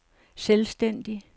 selvstændig